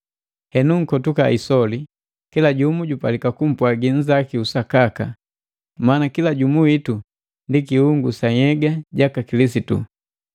Henu nkotuka isoli. Kila jumu jupalika kumpwagi nnzaku usakaka, maana kila jumu witu ndi kiungu sa nhyega jaka Kilisitu.